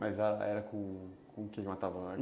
Mas era com o que que matava?